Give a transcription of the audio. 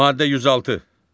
Maddə 106.